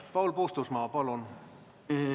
Paul Puustusmaa, palun!